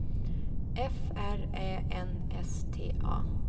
F R Ä N S T A